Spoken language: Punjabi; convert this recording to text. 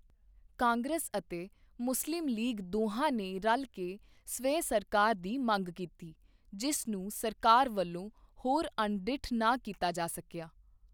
ਕਾਂਗਰਸ ਅਤੇ ਮੁਸਲਿਮ ਲੀਗ ਦੋਹਾਂ ਨੇ ਰਲ ਕੇ ਸਵੈ ਸਰਕਾਰ ਦੀ ਮੰਗ ਕੀਤੀ ਜਿਸ ਨੂੰ ਸਰਕਾਰ ਵਲੋਂ ਹੋਰ ਅਣਡਿੱਠ ਨਾ ਕੀਤਾ ਜਾ ਸਕਿਆ।